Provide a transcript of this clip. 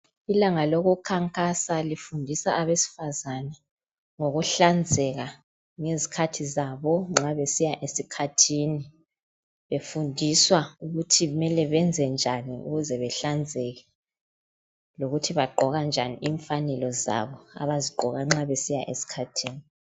ilanga lokukhankasa lifundisa abesifazana ngokuhlanzeka ngezikhathi zabo nxa besiya esikhathini befundiswa ukuthi kumele benze njani ukuze bahlanzeke lokuthi bagqoka njani imfanelo zabo abazigqoka nxa besiya esikhathini